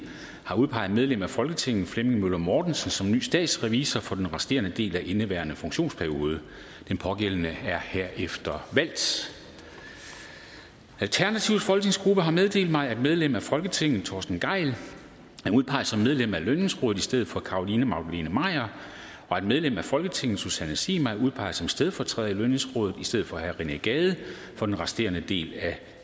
har udpeget medlem af folketinget flemming møller mortensen som ny statsrevisor for den resterende del af indeværende funktionsperiode den pågældende er herefter valgt alternativets folketingsgruppe har meddelt mig at medlem af folketinget torsten gejl er udpeget som medlem af lønningsrådet i stedet for carolina magdalene maier og at medlem af folketinget susanne zimmer er udpeget som stedfortræder i lønningsrådet i stedet for rené gade for den resterende del af